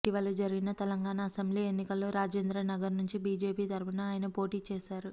ఇటీవల జరిగిన తెలంగాణ అసెంబ్లీ ఎన్నికల్లో రాజేంద్రనగర్ నుంచి బీజేపీ తరఫున ఆయన పోటీ చేశారు